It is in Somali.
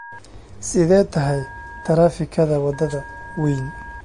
sidee tahay taraafikada wadada weyn